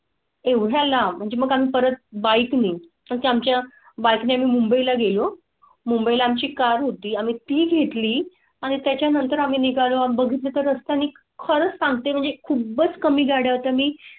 एवढा ला म्हणजे मग परत बाइक मी त्याच्या बाइकला ने मुंबई ला गेलो मुंबई आम ची कार होती. आम्ही ती घेतली आणि त्यानंतर आम्ही निघालो. बघितले तर असते आणि खरंच सांगते म्हणजे खूपच कमी गाड्या होता मी.